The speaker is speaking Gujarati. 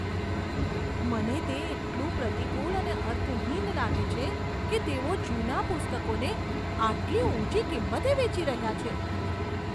મને તે એટલું પ્રતિકૂળ અને અર્થહીન લાગે છે કે તેઓ જૂના પુસ્તકોને આટલી ઊંચી કિંમતે વેચી રહ્યા છે.